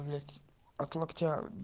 блять от локтя